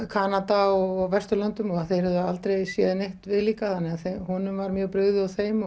Kanada og Vesturlöndum og þeir höfðu aldrei séð neitt viðlíka þannig að honum var mjög brugðið og þeim